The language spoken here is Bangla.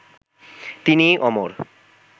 তিনি অমর